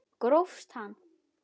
Grófst hann!